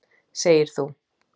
Segir þú.